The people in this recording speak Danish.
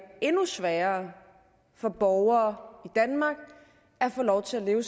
endnu sværere for borgere danmark at få lov til at leve